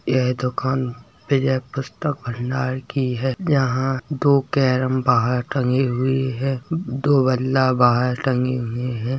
यह दुकान विजय पुस्तक भंडार की है यहाँ दो केरम बाहर टंगी हुई है दो बल्ला बाहर टंगी हुई है।